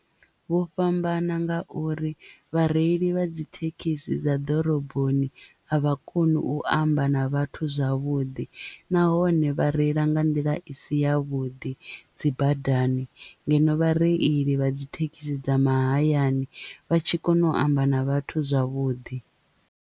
Vho fhambana nga uri vhareili vha dzi thekhisi dza ḓoroboni a vha koni u amba na vhathu zwavhuḓi nahone vha reila nga nḓila i si ya vhuḓi dzi badani ngeno vhareili vha dzi thekhisi dza mahayani vha tshi kona u amba na vhathu zwavhuḓi.